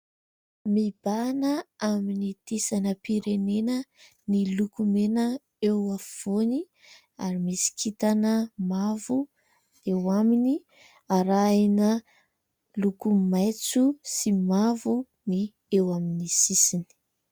Mibahana amin'ny sainam-pirenena ny loko mena eo afovoany ary misy kintana mavo eo aminy, arahina loko maitso sy mavo ny eo amin'ny sisiny.